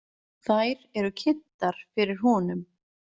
Þær eru kynntar fyrir honum.